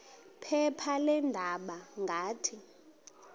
phepha leendaba ngathi